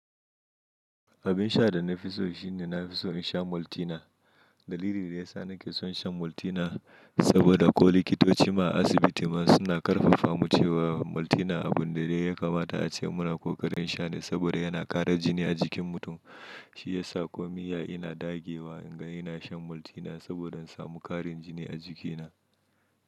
Abin sha da na fi so shine na fi so in sha Maltina. Dalili da ya sa nake son shan Maltina saboda ko likitoci ma a asibiti ma suna ƙarfafa mu cewa Maltina abun da dai ya kamata a ce muna kokarin sha ne saboda yana ƙara jini a jikin mutum. Shi ya sa ko miya ina dagewa in ga ina shan Maltina saboda in samu ƙarin jini a jikina.